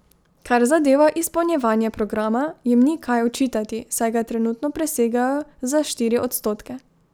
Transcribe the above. Kar zadeva izpolnjevanje programa, jim ni kaj očitati, saj ga trenutno presegajo za štiri odstotke.